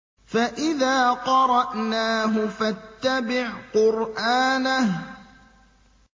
فَإِذَا قَرَأْنَاهُ فَاتَّبِعْ قُرْآنَهُ